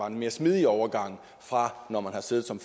en mere smidig overgang fra at man har siddet som